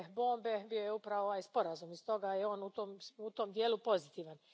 bombe bio je upravo ovaj sporazum, i stoga je on u tom dijelu pozitivan.